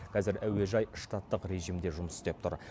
қазір әуежай штаттық режимде жұмыс істеп тұр